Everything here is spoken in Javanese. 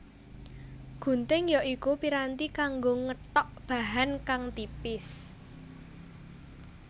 Gunting ya iku piranti kanggo ngethok bahan kang tipis